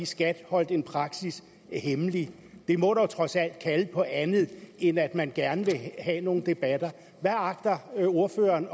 skat holdt en praksisændring hemmelig det må dog trods alt kalde på andet end at man gerne vil have nogle debatter hvad agter ordføreren